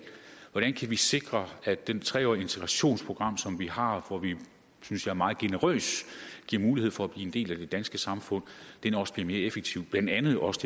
hvordan kan vi sikre at det tre årige integrationsprogram som vi har hvor vi synes jeg meget generøst giver mulighed for at blive en del af det danske samfund også bliver mere effektivt blandt andet også